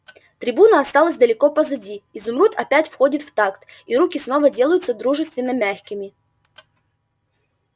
трибуна осталась далеко позади изумруд опять входит в такт и руки снова делаются дружественно-мягкими